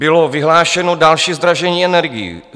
Bylo vyhlášeno další zdražení energií.